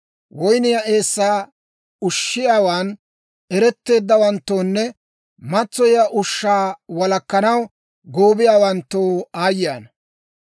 Woynniyaa eessaa ushiyaawan eretteeddawanttoonne matsoyiyaa ushshaa walakkanaw goobiyaawanttoo aayye ana!